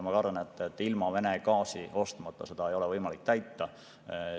Ma kardan, et ilma Vene gaasi ostmata seda ei ole võimalik täita.